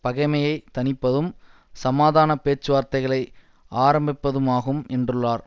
பகைமையை தணிப்பதும் சமாதான பேச்சுவார்த்தைகளை ஆரம்பிப்பதுமாகும் என்றுள்ளார்